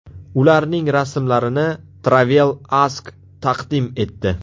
Ularning rasmlarini Travel Ask taqdim etdi.